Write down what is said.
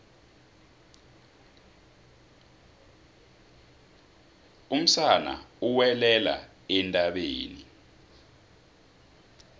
umsana uwelela entabeni